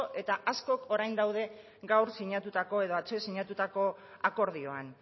eta asko orain daude gaur sinatutako edo atzo sinatutako akordioan